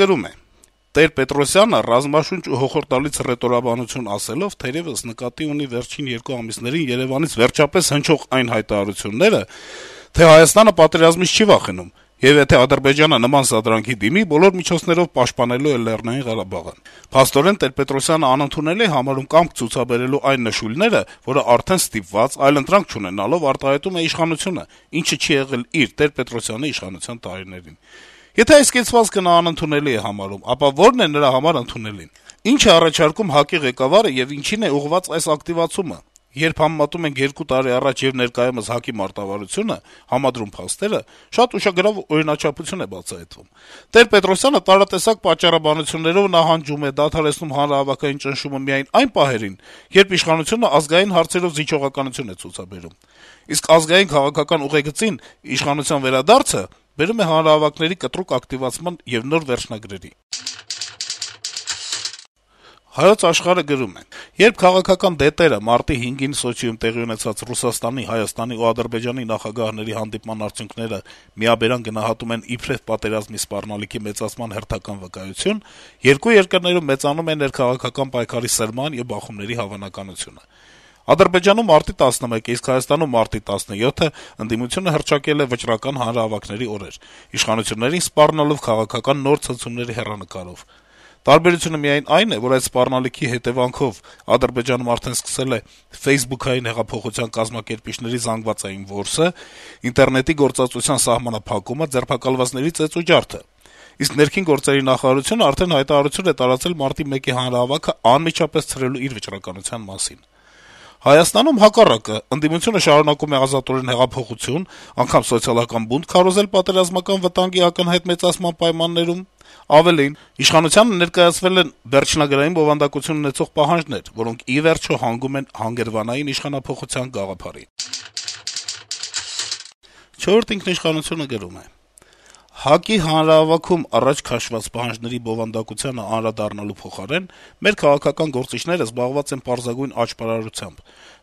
գրում է. - «Տեր-Պետրոսյանը «ռազմաշունչ ու հոխորտալից հռետորաբանություն» ասելով թերեւս նկատի ունի վերջին երկու ամիսներին Երեւանից վերջապես հնչող այն հայտարարությունները, թե Հայաստանը պատերազմից չի վախենում, եւ եթե Ադրբեջանը նման սադրանքի դիմի, բոլոր միջոցներով պաշտպանելու է Լեռնային Ղարաբաղը: Փաստորեն, Տեր-Պետրոսյանը անընդունելի է համարում կամք ցուցաբերելու այն նշույլները, որը արդեն ստիպված, այլընտրանք չունենալով` արտահայտում է իշխանությունը, ինչը չի եղել իր` Տեր-Պետրոսյանի իշխանության տարիներին: Եթե այս կեցվածքը նա անընդունելի է համարում, ապա ո՞րն է նրա համար ընդունելին: Ի՞նչ է առաջարկում ՀԱԿ-ի ղեկավարը եւ ինչի՞ն է ուղղված այս ակտիվացումը: Երբ համեմատում ենք 2 տարի առաջ եւ ներկայումս ՀԱԿ-ի մարտավարությունը, համադրում փաստերը, շատ ուշագրավ օրինաչափություն է բացահայտվում. Տեր-Պետրոսյանը տարատեսակ պատճառաբանություններով նահանջում է, դադարեցնում հանրահավաքային ճնշումը միայն այն պահերին, երբ իշխանությունը ազգային հարցերով զիջողականություն է ցուցաբերում: Իսկ ազգային քաղաքական ուղեգծին իշխանության վերադարձը բերում է հանրահավաքների կտրուկ ակտիվացման եւ նոր վերջնագրերի»: «Հայոց Աշխարհ»-ը գրում է.- «Երբ քաղաքական դետերը մարտի 5-ին Սոչիում տեղի ունեցած Ռուսաստանի, Հայաստանի ու Ադրբեջանի նախագահների հանդիպման արդյունքները միաբերան գնահատում են իբրեւ պատերազմի սպառնալիքի մեծացման հերթական վկայություն, երկու երկրներում մեծանում է ներքաղաքական պայքարի սրման եւ բախումների հավանականությունը։ Ադրբեջանում մարտի 11-ը, իսկ Հայաստանում՝ մարտի 17-ը ընդդիմությունը հռչակել է վճռական հանրահավաքների օրեր՝ իշխանություններին սպառնալով քաղաքական նոր ցնցումների հեռանկարով։ Տարբերությունը միայն այն է, որ այդ սպառնալիքի հետեւանքով Ադրբեջանում արդեն սկսվել է «ֆեյսբուքային հեղափոխության» կազմակերպիչների զանգվածային որսը, ինտերնետի գործածության սահմանափակումը, ձերբակալվածների ծեծ ու ջարդը։ Իսկ ներքին գործերի նախարարությունը արդեն հայտարարություն է տարածել մարտի 11-ի հանրահավաքը անմիջապես ցրելու իր վճռականության մասին։ Հայաստանում, հակառակը, ընդդիմությունը շարունակում է ազատորեն հեղափոխություն, անգամ սոցիալական բունտ քարոզել պատերազմական վտանգի ակնհայտ մեծացման պայմաններում։ Ավելին՝ իշխանությանը ներկայացվել են վերջնագրային բովանդակություն ունեցող պահանջներ, որոնք, ի վերջո, հանգում են «հանգրվանային իշխանափոխության» գաղափարին»։ «Չորրորդ ինքիշխանություն»-ը գրում է. - «ՀԱԿ-ի հանրահավաքում առաջ քաշված պահանջները բովանդակությանը անդրադառնալու փոխարեն մեր քաղաքական գործիչները զբաղված են պարզագույն աճպարարությամբ: